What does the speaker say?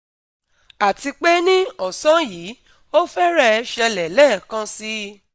Àti pé ní ọ̀sán yìí, ó fẹ́rẹ̀ẹ́ ṣẹlẹ̀ lẹ́ẹ̀kan síi